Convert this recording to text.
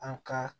An ka